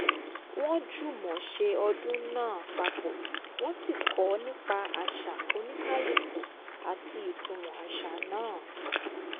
wọ́n jùmọ̀ ṣe ọdún náà papọ̀ wọ́n sì kọ́ nípa àṣà oníkálúkù àti ìtumọ̀ àṣà náà